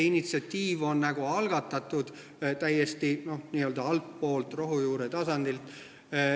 Initsiatiiv on algatatud täiesti n-ö altpoolt, rohujuure tasandilt.